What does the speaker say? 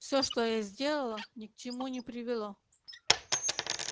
всё что я сделала ни к чему не привело